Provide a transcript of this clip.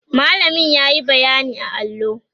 mallamin yayi bayyani a allo